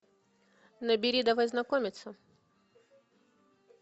набери давай знакомиться